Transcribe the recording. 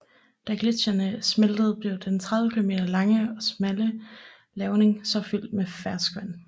Da gletsjerne smeltede blev den 30 km lange og smalle lavning så fyldt med ferskvand